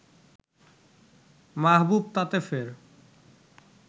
মাহবুব তাতে ফের